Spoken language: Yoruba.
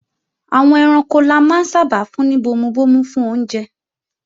Àwọn ẹranko la máa ń sábà fún ní bomubomu fún oúnjẹ